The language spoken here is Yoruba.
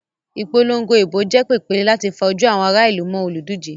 Ìpolongo ìbò jẹ́ pèpéle láti fa ojú àwọn ará ìlú mọ́ olùdíje.